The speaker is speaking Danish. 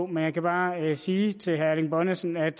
men jeg kan bare sige til herre erling bonnesen at